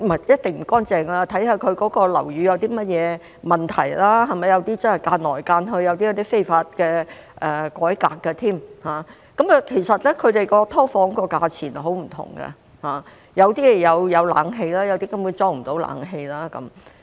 一定不乾淨的，要視乎樓宇有甚麼問題，有些真的有很多間隔，有些更是非法改裝，其實"劏房"的價格真的十分不一，有些有冷氣，有些根本無法安裝冷氣。